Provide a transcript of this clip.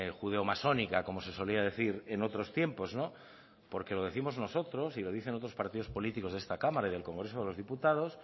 judeo masónica como se solía decir en otros tiempos porque lo décimos nosotros y lo dicen otros partidos políticos de esta cámara y del congreso de los diputados